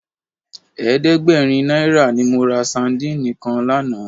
Ẹ̀ẹ́dẹ́gbẹ̀rin náírà ni mo ra sadíìnì kan lánàá.